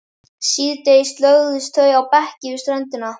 Síðdegis lögðust þau á bekki við ströndina.